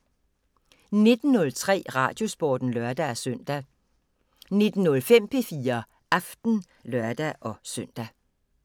19:03: Radiosporten (lør-søn) 19:05: P4 Aften (lør-søn)